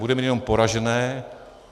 Bude mít jenom poražené.